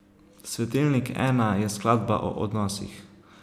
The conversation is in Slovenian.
Svetilnik I je skladba o odnosih.